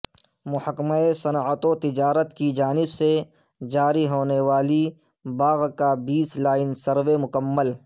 محکمہ صنعت و تجارت کی جانب سے جاری ہونیوالی باغ کا بیس لائن سروے مکمل